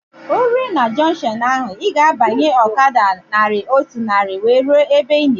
Ị rue na junkshọnu ahụ, ị ga-abanye ọkada naira otu narị wee rue ebe ị na-eje